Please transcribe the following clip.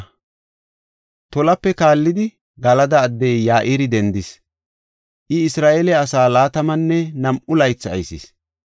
Tolape kaallidi, Galada addey Ya7iri dendis. I Isra7eele asaa laatamanne nam7u laythi aysis.